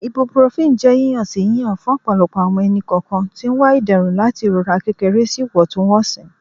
Ibuprofen jẹ yiyan-si yiyan fun ọpọlọpọ awọn ẹni-kọọkan ti n wa iderun lati irora kekere si iwọntunwọnsi